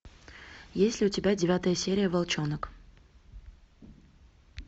есть ли у тебя девятая серия волчонок